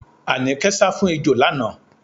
Àníkẹ́ sá fún ejò lánàá.